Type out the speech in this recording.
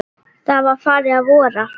Það var farið að vora.